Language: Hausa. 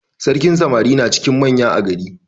Sarkin samari na cikin manya a gari.